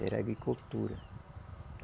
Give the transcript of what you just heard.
Era agricultura.